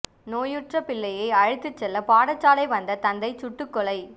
நோயுற்ற பிள்ளையை அழைத்துச் செல்ல பாடசாலை வந்த தந்தை சுட்டுக் கொலை